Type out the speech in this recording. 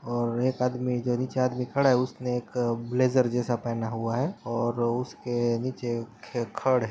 और एक आदमी जो नीचे आदमी खड़ा है उसने एक ब्लेजर जैसा पहना हुआ है और उसके नीचे खडे --